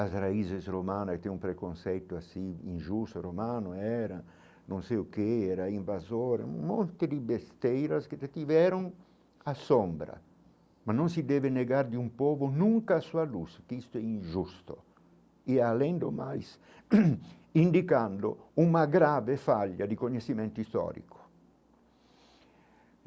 As raízes romanas têm um preconceito assim, injusto, romano era, não sei o que era, invasor, um monte de besteiras que detiveram a sombra, mas não se deve negar de um povo nunca a sua luz, que isto é injusto, e além do mais indicando uma grave falha de conhecimento histórico.